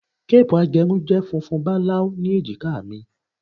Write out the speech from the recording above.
Cape agerun je funfun balau ni ejika mi